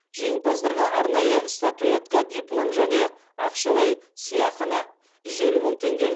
жеңімпаздарға арнайы статуэтка диплом және ақшалай сыйақыны